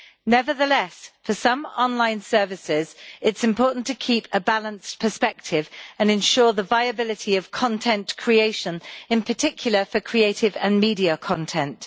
Nevertheless, for some online services it is important to keep a balanced perspective and ensure the viability of content creation, in particular for creative and media content.